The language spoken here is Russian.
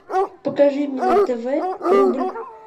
покажи мне на тв рубль